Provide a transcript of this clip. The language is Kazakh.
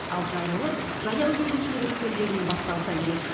ал жайлылық жаяу жүргіншілер өткелдерінен басталса керек